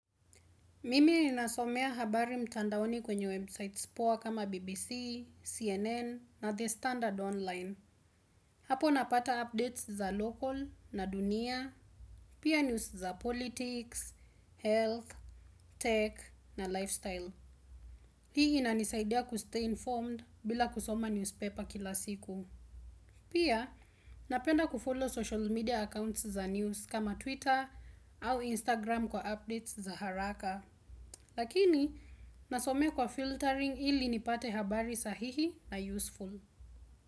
Mimi ninasomea habari mtandaoni kwenye websites poa kama BBC, CNN na the standard online. Hapo napata updates za local na dunia, pia news za politics, health, tech na lifestyle. Hii inanisaidia kustay informed bila kusoma newspaper kila siku. Pia napenda kufollow social media accounts za news kama Twitter au Instagram kwa updates za haraka. Lakini nasomea kwa filtering ili nipate habari sahihi na useful.